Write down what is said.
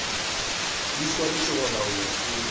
di swanetše go laolwa ke